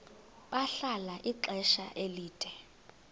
bahlala ixesha elide